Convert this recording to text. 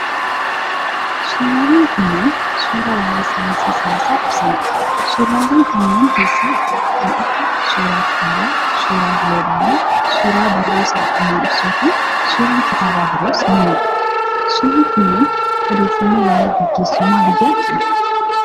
Suurawwan kunneen, suura waa'ee saayinsii siyaasaa ibsanii dha. Suurawwan kanneen keessaa kan akka : suura kitaabaa, suura giloobii, suura burruusa haqummaa ibsuu fi suurri kitaaba biroos ni mul'ata. Suurri kunneen, odeeffannoo waa'ee gaggeessummaa biyyaa kennu.